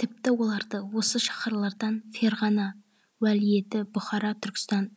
тіпті оларды осы шаһарлардан ферғана уәлиеті бұхара түркістан